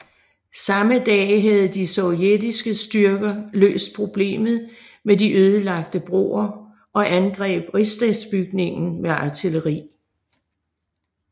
Samme dag havde de sovjetiske styrker løst problemet med de ødelagte broer og angreb Rigsdagsbygningen med artilleri